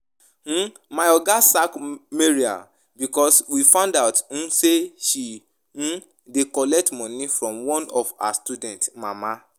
um My oga sack Maria because we find out um say she um dey collect money from one of her students mama